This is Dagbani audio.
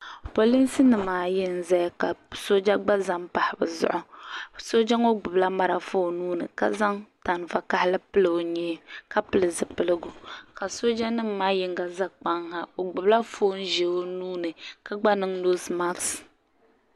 Polinsi nima ayi n-zaya ka sooja gba za m-pahi bɛ zuɣu sooja ŋɔ gbubila marafa o nuu ni ka zaŋ tan'vakahali pili o nyee ka pili zipiligu ka soojanima maa yiŋga za kpaŋ ha o gbubila foon'ʒee o nuu ni ka gba niŋ noosi maaki.